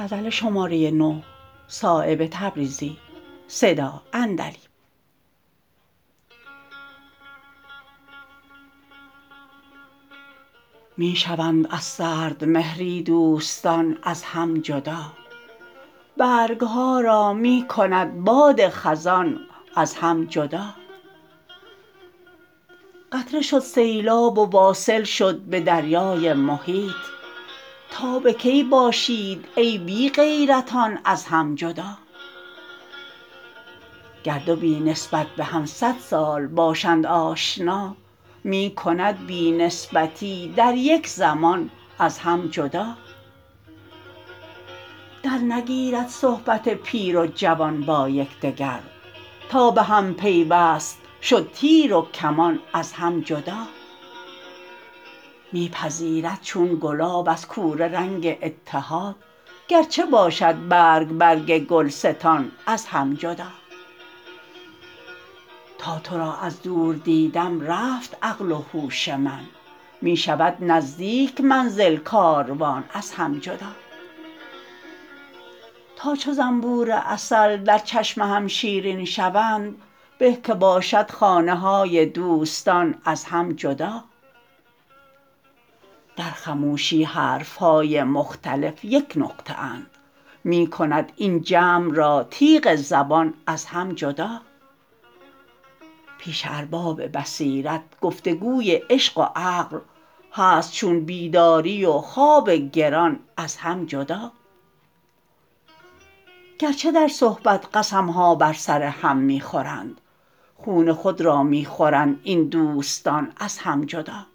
می شوند از سردمهری دوستان از هم جدا برگ ها را می کند باد خزان از هم جدا قطره شد سیلاب و واصل شد به دریای محیط تا به کی باشید ای بی غیرتان از هم جدا گر دو بی نسبت به هم صد سال باشند آشنا می کند بی نسبتی در یک زمان از هم جدا در نگیرد صحبت پیر و جوان با یکدگر تا به هم پیوست شد تیر و کمان از هم جدا می پذیرد چون گلاب از کوره رنگ اتحاد گرچه باشد برگ برگ گلستان از هم جدا تا تو را از دور دیدم رفت عقل و هوش من می شود نزدیک منزل کاروان از هم جدا تا چو زنبور عسل در چشم هم شیرین شوند به که باشد خانه های دوستان از هم جدا در خموشی حرف های مختلف یک نقطه اند می کند این جمع را تیغ زبان از هم جدا پیش ارباب بصیرت گفتگوی عشق و عقل هست چون بیداری و خواب گران از هم جدا گرچه در صحبت قسم ها بر سر هم می خورند خون خود را می خورند این دوستان از هم جدا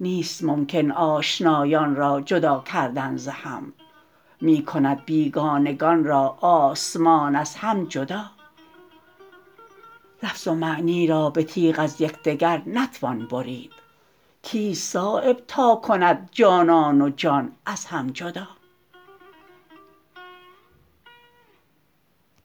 نیست ممکن آشنایان را جدا کردن ز هم می کند بیگانگان را آسمان از هم جدا لفظ و معنی را به تیغ از یکدگر نتوان برید کیست صایب تا کند جانان و جان از هم جدا